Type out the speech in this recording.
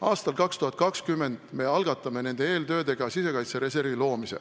Aastal 2020 me algatame nende eeltöödega sisekaitsereservi loomise.